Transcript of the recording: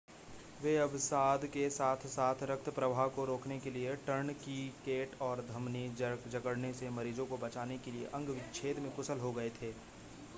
वे अवसाद के साथ-साथ रक्त प्रवाह को रोकने के लिए टर्नकीकेट और धमनी जकड़ने से मरीजों को बचाने के लिए अंग-विच्छेद में कुशल हो गए थे